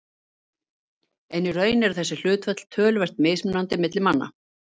En í raun eru þessi hlutföll töluvert mismunandi milli manna.